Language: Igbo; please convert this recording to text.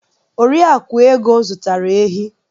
Oriakụ Ego zụtara ehi.